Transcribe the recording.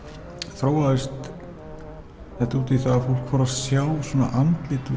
þróaðist þetta út í að fólk fór að sjá andlit